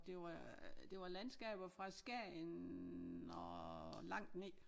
Det var det var landskaber fra Skagen og langt ned